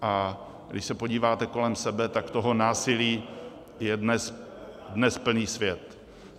A když se podíváte kolem sebe, tak toho násilí je dnes plný svět.